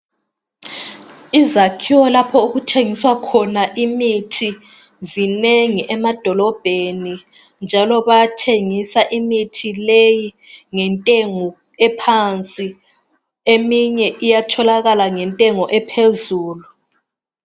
Izakhiwo lapho okuthengiswa khona imithi zinengi emadolobheni, njalo bayathengisa imithi leyi ngentengo ephansi. Eminye iyatholakala ngentengo ephezulu.